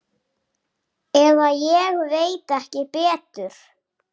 Eða ég veit ekki betur.